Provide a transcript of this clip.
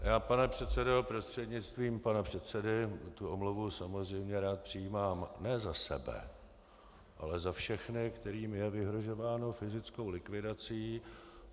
Já, pane předsedo prostřednictvím pana předsedy, tu omluvu samozřejmě rád přijímám ne za sebe, ale za všechny, kterým je vyhrožováno fyzickou likvidací.